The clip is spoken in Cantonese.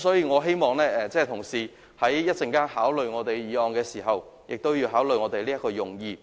我希望同事在稍後考慮我們的議案時，同時亦會考慮這個用意。